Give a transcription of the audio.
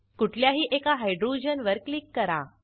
कुठल्याही एका हायड्रोजनवर क्लिक करा